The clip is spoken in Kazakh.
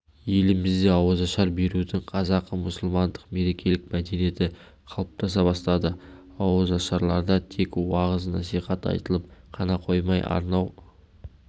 елімізде ауызашар берудің қазақы-мұсылмандық мерекелік мәдениеті қалыптаса бастады ауызашарларда тек уағыз-насихат айтылып қана қоймай арнау